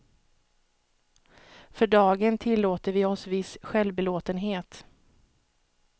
För dagen tillåter vi oss viss självbelåtenhet.